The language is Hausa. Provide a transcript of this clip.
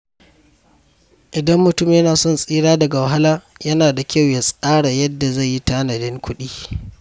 Idan mutum yana son tsira daga wahala, yana da kyau ya tsara yadda zai yi tanadin kuɗi.